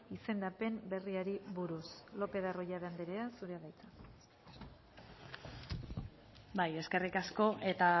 izendapen berriari buruz lopez de arroyabe andrea zurea da hitza bai eskerrik asko eta